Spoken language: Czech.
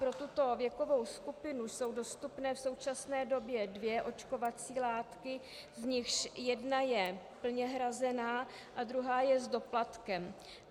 Pro tuto věkovou skupinu jsou dostupné v současné době dvě očkovací látky, z nichž jedna je plně hrazena a druhá je s doplatkem.